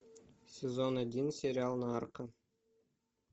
сезон один сериал нарко